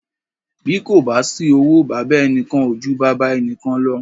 Bí kò bá sí owó, baba ẹnìkan ò ju baba ẹnìkan lọ.